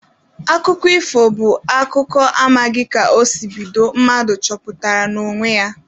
Akụkọ ifo bụ akụkọ amaghị ka o si bido, mmadụ chepụtara n'onwe ya.